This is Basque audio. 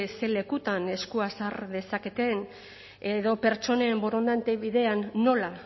ze lekutan eskua sar dezaketen edo pertsonen borondate bidean nola